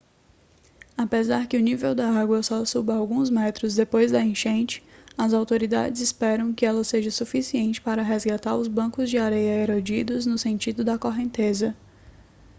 apesar que o nível da água só suba alguns metros depois da enchente as autoridades esperam que ela seja suficiente para resgatar os bancos de areia erodidos no sentido da correnteza